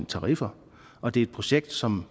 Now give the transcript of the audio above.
tariffer og det er et projekt som